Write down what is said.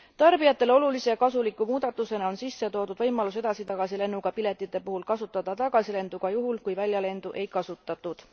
Tarbijatele olulise kasuliku muudatusena on sisse toodud võimalus edasi tagasi lennuga piletite puhul kasutada tagasilendu ka juhul, kui väljalendu ei kasutatud.